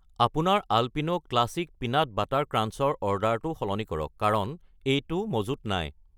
আপোনাৰ Alpino classic peanut butter crunch ৰ অৰ্ডাৰটো সলনি কৰক কাৰণ এইটো মজুত নাই।